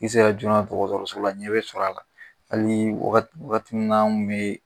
I sera joona dɔgɔtɔrɔso la ɲɛ bɛ sɔr'a la. Hali wagat wagati min na an ŋun be